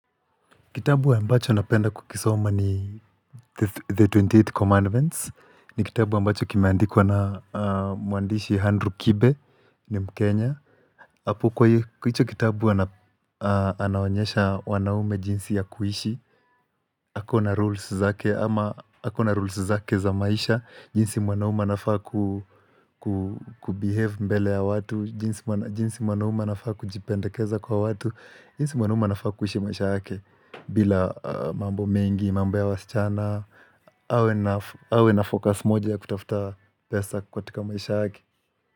Kitabu ambacho napenda kukisoma ni The 28 Commandments. Ni kitabu ambacho kimeandikwa na mwandishi Andrew Kibe ni mkenya. Hapo kwa hicho kitabu anawaonyesha wanaume jinsi ya kuhishi. Ako na rules zake za maisha. Jinsi mwanaume anafaa kubehave mbele ya watu. Jinsi mwanaume anafaa kujipendakeza kwa watu. Jinsi mwanaume anafaa kuishi maisha yake. Bila mambo mengi, mambo ya wasichana awe nafocus moja ya kutafuta pesa katika maisha yake.